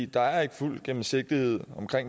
der er ikke fuld gennemsigtighed